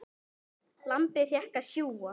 Lambið fékk að sjúga.